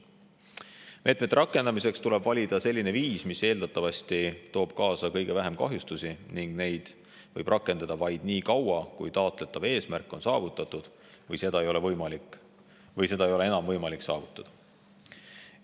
Meetmete rakendamiseks tuleb valida selline viis, mis eeldatavasti toob kaasa kõige vähem kahjustusi, ning neid võib rakendada vaid nii kaua, kui taotletav eesmärk on saavutatud või seda ei ole enam võimalik saavutada.